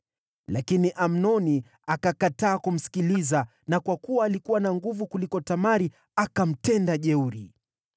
Lakini Amnoni akakataa kumsikiliza, na kwa kuwa alikuwa na nguvu kuliko Tamari, akamtenda jeuri.